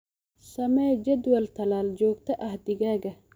Samee jadwal tallaal joogto ah digaagga.